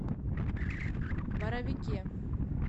боровике